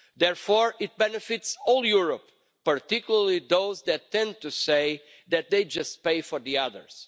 Therefore it benefits all Europe, particularly those that tend to say that they just pay for the others.